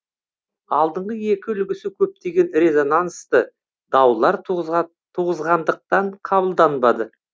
алдыңғы екі үлгісі көптеген резонансты даулар туғызғандықтан қабылданбады